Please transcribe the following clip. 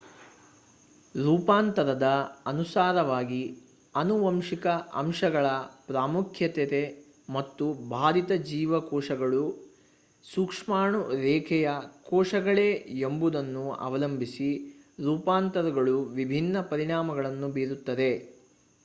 ರೂಪಾಂತರದ ಅನುಸಾರವಾಗಿ ಆನುವಂಶಿಕ ಅಂಶಗಳ ಪ್ರಾಮುಖ್ಯತೆ ಮತ್ತು ಬಾಧಿತ ಜೀವಕೋಶಗಳು ಸೂಕ್ಷ್ಮಾಣು-ರೇಖೆಯ ಕೋಶಗಳೇ ಎಂಬುದನ್ನು ಅವಲಂಬಿಸಿ ರೂಪಾಂತರಗಳು ವಿಭಿನ್ನ ಪರಿಣಾಮಗಳನ್ನು ಬೀರುತ್ತವೆ